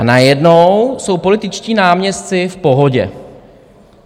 A najednou jsou političtí náměstci v pohodě.